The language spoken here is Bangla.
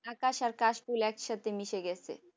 আকাশ আর ফুল একসাথে মিশে গেছে